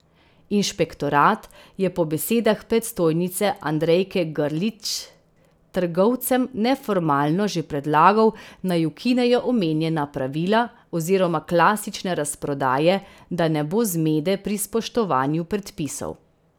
Inšpektorat je po besedah predstojnice Andrejke Grlić trgovcem neformalno že predlagal, naj ukinejo omenjena pravila oziroma klasične razprodaje, da ne bo zmede pri spoštovanju predpisov.